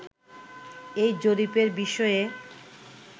এই জরিপের বিষয়ে